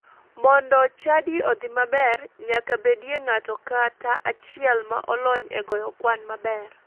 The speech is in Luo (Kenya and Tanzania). Mondo chadi odhi maber, nyaka bedie ng'ato kata achiel ma olony e goyo kwan maber.